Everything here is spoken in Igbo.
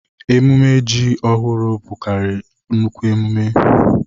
Emume ji ọhụrụ na-abụkarị nnukwu emume.